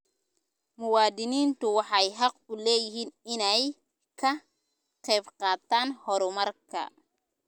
Muwaadiniintu waxay xaq u leeyihiin inay ka qaybqaataan horumarka.